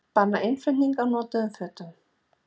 Banna innflutning á notuðum fötum